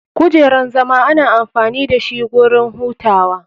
Kujeran zama ana amfani dashi wurin hutawa.